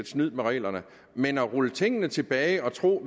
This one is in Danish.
snyderi med reglerne men at rulle tingene tilbage og tro